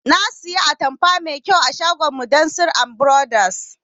Na saya atamfa mai kyau a shagon mudassir and brothers